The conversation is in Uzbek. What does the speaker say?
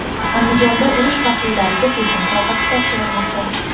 Andijonda urush faxriylariga Prezident sovg‘asi topshirilmoqda.